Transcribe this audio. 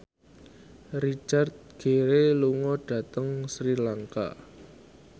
Richard Gere lunga dhateng Sri Lanka